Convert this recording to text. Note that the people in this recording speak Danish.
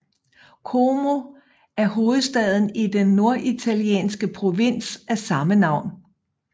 Como er hovedstad i den norditalienske provins af samme navn